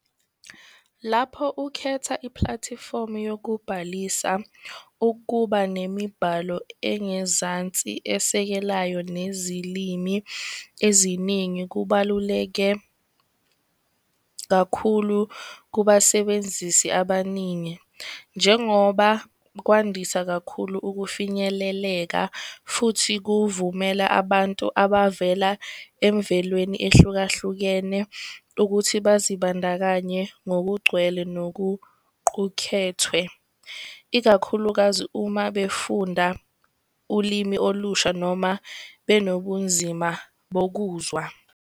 Lapho ukhetha iplathifomu yokubhalisa ukuba nemibhalo engezansi esekelayo, nezilimi eziningi, kubaluleke kakhulu kubasebenzisi abaningi, njengoba kwandisa kakhulu ukufinyeleleka. Futhi kuvumela abantu abavela emvelweni ehlukahlukene ukuthi bazibandakanye ngokugcwele, nokuqukethwe. Ikakhulukazi uma befunda ulimi olusha noma benobunzima bokuzwa.